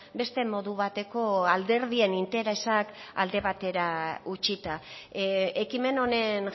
beste modu bateko alderdien interesak alde batera utzita ekimen honen